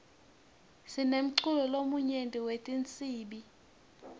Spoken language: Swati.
sinemculo lomnyenti wetinsibi